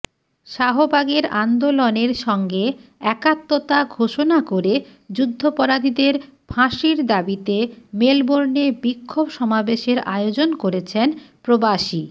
শাহবাগের আন্দোলনের সঙ্গে একাত্মতা ঘোষণা করে যুদ্ধাপরাধীদের ফাঁসির দাবিতে মেলবোর্নে বিক্ষোভ সমাবেশের আয়োজন করেছেন প্রবাসী